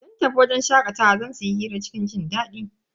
Sun tafi wajen shakatawa don su yi hira cikin jindadi.